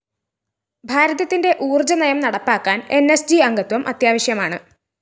ഭാരതത്തിന്റെ ഊര്‍ജ്ജ നയം നടപ്പാക്കാന്‍ ന്‌ സ്‌ ജി അംഗത്വം അത്യാവശ്യമാണ്